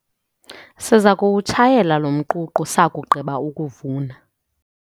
Siza kuwutshayela lo mququ sakugqiba ukuvuna.